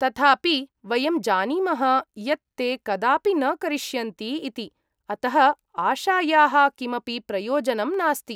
तथापि, वयं जानीमः यत् ते कदापि न करिष्यन्ति इति, अतः आशायाः किमपि प्रयोजनं नास्ति।